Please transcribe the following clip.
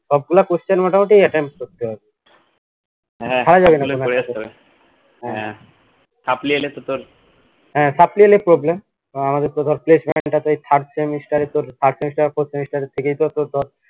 সবগুলা question মোটামুটি attend করতে হবে ছাড়া যাবেনা হ্যা হ্যা supply এলে problem আমাদের তো ধর placement টা যদি third semester এ তোর third semester fourth semester এ ধর